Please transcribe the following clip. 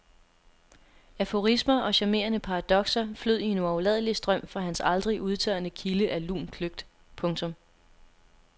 Aforismer og charmerende paradokser flød i en uafladelig strøm fra hans aldrig udtørrende kilde af lun kløgt. punktum